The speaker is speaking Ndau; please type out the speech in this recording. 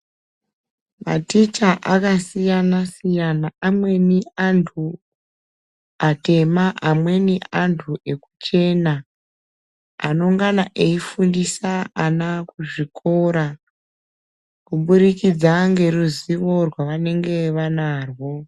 Maticha akasiyana siyana amweni anthu atema amweni anthu ekuchena anongana eifundisa ana kuzvikora kubudikidza neruzivo rwavanenge vanarwo.